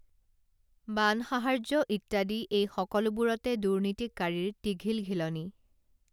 বান সাহাৰ্য ইত্যাদি এই সকলোবোৰতে দুৰ্নীতিকাৰীৰ টিঘিলঘিলনি